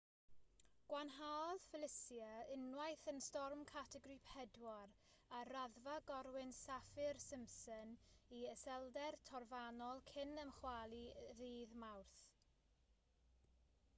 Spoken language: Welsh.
gwanhaodd felicia unwaith yn storm categori 4 ar raddfa gorwynt saffir-simpson i iselder trofannol cyn ymchwalu ddydd mawrth